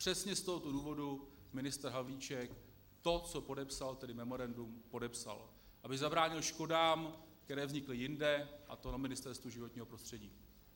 Přesně z tohoto důvodu ministr Havlíček to, co podepsal, tedy memorandum, podepsal, aby zabránil škodám, které vznikly jinde, a to na Ministerstvu životního prostředí.